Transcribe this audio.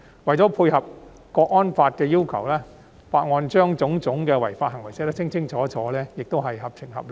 為配合《香港國安法》的要求，《條例草案》清楚列明各種違法行為，此舉亦是合情合理。